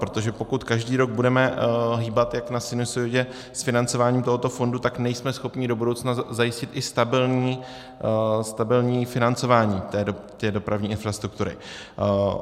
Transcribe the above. Protože pokud každý rok budeme hýbat jak na sinusoidě s financováním tohoto fondu, tak nejsme schopni do budoucna zajistit i stabilní financování té dopravní infrastruktury.